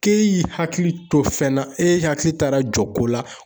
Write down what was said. K'e y'i hakili to fɛn na, e hakili taara jɔ ko la